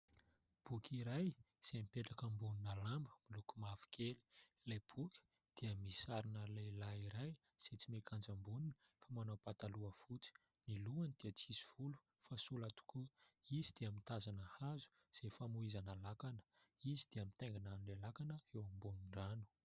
Boky iray izay mipetraka ambonina lamba miloko mavo kely. Ilay boky dia misy sarina lehilahy iray izay tsy miakanjo ambony fa manao pataloha fotsy ny lohany, dia tsy misy volo fa sola tokoa izy, dia mitazona hazo izay famohizana lakana. Izy dia mitaingana lakana eo ambon'ny rano.